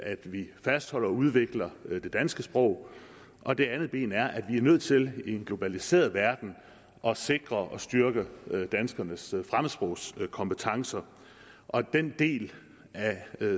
at vi fastholder og udvikler det danske sprog og det andet ben er at vi er nødt til i en globaliseret verden at sikre og styrke danskernes fremmedsprogskompetencer og denne del af